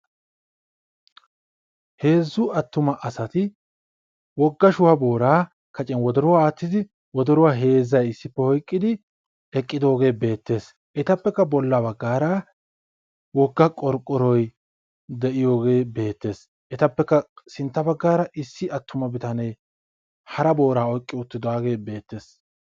Heezzu attuma asati wogga shuha booraa kacciyan wodoruwa aattidi wodoruwa heezzay issippe oyqqidi eqqidooge neettes. Etappekka bolla baggaara wogga qorqqoroy de'iyooge beettees. Etappekka sintta baggaara issi atumma bitanee hara booraa oyqqi uttidaage beettees.